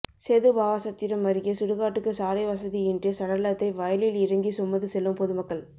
சேதுபாவாசத்திரம் அருகே சுடுகாட்டுக்கு சாலை வசதியின்றி சடலத்தை வயலில் இறங்கி சுமந்து செல்லும் பொதுமக்கள்